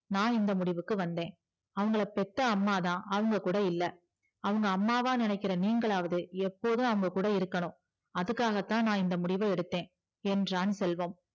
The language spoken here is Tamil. நா இந்த முடிவுக்கு வந்தே அவங்களா பெத்த அம்மாதா அவங்க கூட இல்ல அவங்க அம்மாவா நினைக்கிற நீங்களாது எப்போதும் அவங்க கூட இருக்கணும் அதுக்காகதா நா இந்த முடிவ எடுத்த என்றான் செல்வம்